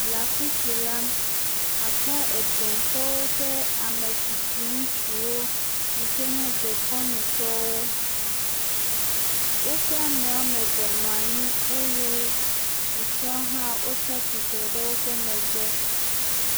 la fisi la akpɔ egɛ̃ tɔwo ƒe amɛtsitsi ŋutsuwo yike nye dekɔnu tɔwo wóƒe amɛ wɔameve nɔ anyi eye susoewo tsitsre ɖe wóƒe megbe